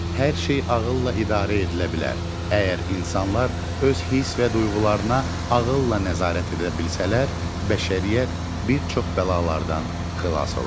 Hər şey ağılla idarə edilə bilər, əgər insanlar öz hiss və duyğularına ağılla nəzarət edə bilsələr, bəşəriyyət bir çox bəlalardan xilas olar.